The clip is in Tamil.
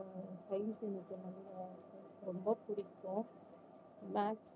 ஆஹ் science நல்லா science ரொம்ப பிடிக்கும் batch